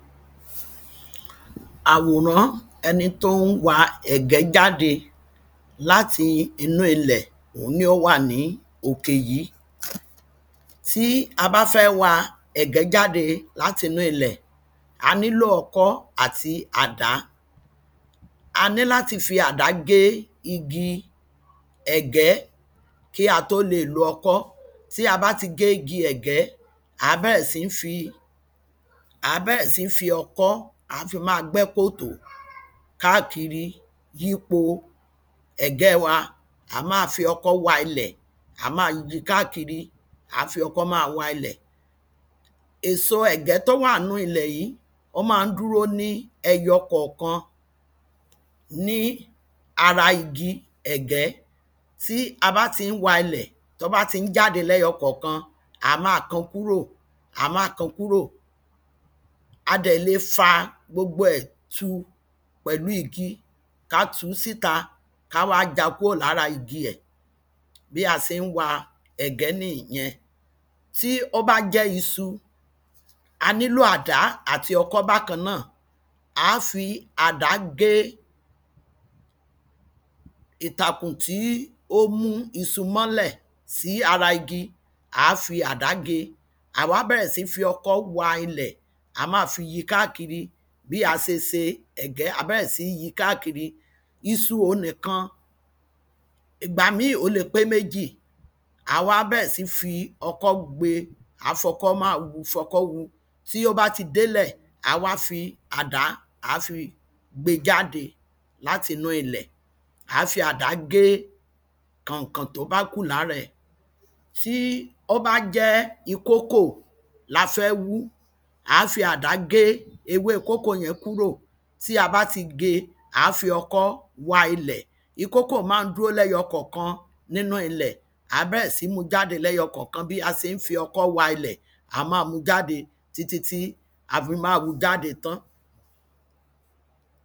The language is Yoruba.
Àwòrán ẹni tó ń wa ẹ̀gẹ́ jáde láti inú ilẹ̀ òhun ni ó wà ní òkè yìí. Tí a bá fẹ́ wa ẹ̀gẹ́ jáde látinú ilẹ̀ a nílò ọkọ́ àti àdá. A ní láti fi àdá gé igi ẹ̀gẹ́ kí á tó le lo okọ́ tí a bá ti gé igi ẹ̀gẹ́ à á bẹ̀rẹ̀ sí ní fi ọkọ́ à á fi má gbẹ́ kòtò kákìri yípo ẹ̀gẹ́ wa à á má fi ọkọ́ wa ilẹ̀ à á má yí kákìri à má fi ọkọ́ má wa ilẹ̀. Èso ẹ̀gẹ́ tó wà nínú ilẹ̀ yìí ó má ń dúró ní ẹyọkọ̀kan ní ara igi ẹ̀gẹ́ tí a bá tí ń wa ilẹ̀ tán bá ti ń jáde léyọkọ̀kan à má kó kúrò à má kó kúrò a dẹ̀ le fa gbogbo ẹ̀ tu pẹ̀lú igi ká tú síta ká wá já kúrò lára igi ẹ̀ bí a se ń wa ẹ̀gẹ́ nìyẹn. Tí ó bá jẹ́ isu a nílò àdá àti ọkọ́ bákan náà á fi àdá gé ìtàkùn tí ó mú isu mọ́lẹ̀ sí ara igi á fi àdá gé à á wá bẹ̀rẹ̀ sí ní fi ọkọ́ wa ilẹ̀ á fi yí kákìri bí a se se ẹ̀gẹ́ à á bẹ̀rẹ̀ sí ní yí kákìri isu òhun nìkan ìgbà mí ó le pé méjì à á wá bẹ̀rẹ̀ sí ní fi ọkọ́ gbé à á fọkọ́ má hú à á fọkọ́ hú tí ó bá ti dẹ́lẹ̀ à á wá fi àdá à á fi gbé jáde láti inú ilẹ̀ à á fi àdá gé kànkàn tó bá kù lára ẹ̀. Tí ó bá jẹ́ ikókò la fẹ́ hú à á fi àdá gé ewé kókò yẹn kúrò tí a bá ti gé à á fi ọkọ́ wa ilẹ̀ ikókò má ń dúró lẹ́yọkọ̀kan ní inú ilẹ̀ à á bẹ̀rẹ̀ sí ní mú jáde lẹ́yọkọ̀kan bí a se ń fi ọkọ́ wa ilẹ̀ à á má mú jáde títí tí a fi má hú jáde tán.